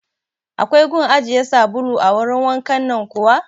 Akwai gun ajiye sabulu a wurin wankan nan kuwa?